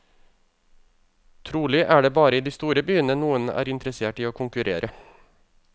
Trolig er det bare i de store byene noen er interessert i å konkurrere.